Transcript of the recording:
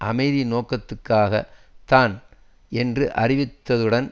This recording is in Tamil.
அமைதி நோக்கத்துக்காகத்தான் என்று அறிவித்தித்ததுடன்